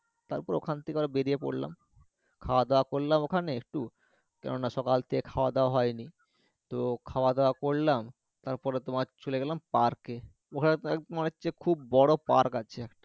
তারপর ওখান থেকে আবার বেরিয়ে পড়লাম খাওয়া দাওয়া করলাম ওখানে একটু কেননা সকাল থেকে খাওয়া দাওয়া হয়নি তো খাওয়া দাওয়া করলাম তারপর তোমার চলে গেলাম park এ ওখানে তোমার তোমার হচ্ছে খুব বড়ো park আছে